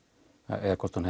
eða hvort hún